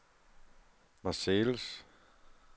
Marseilles